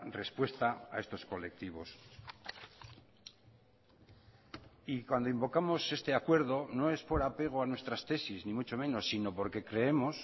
respuesta a estos colectivos y cuando invocamos este acuerdo no es por apego a nuestras tesis ni mucho menos sino porque creemos